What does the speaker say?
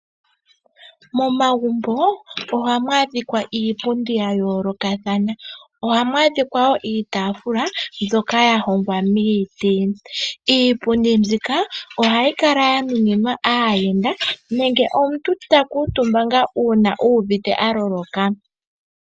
Momagumbo ohamu adhika iipundi ya yoolokathana niitaafula mbyoka ya hongwa miiti. Iipundi mbika ohayi kala ya nuninwa aayenda nenge omuntu ta kuutumba ngaa uuna uuvite a loloka.